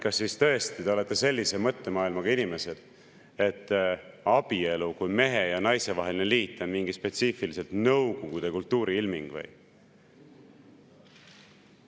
Kas siis tõesti te olete sellise mõttemaailmaga inimesed, et abielu kui mehe ja naise vaheline liit on mingi spetsiifiliselt Nõukogude kultuuri ilming või?